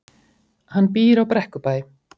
Hann býr á Brekkubæ.